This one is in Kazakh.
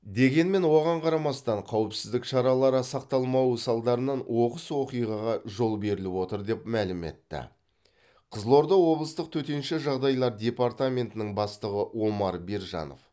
дегенмен оған қарамастан қауіпсіздік шаралары сақталмауы салдарынан оқиғаға жол беріліп отыр деп мәлім етті қызылорда облыстық төтенше жағдайлар департаментінің бастығы омар бержанов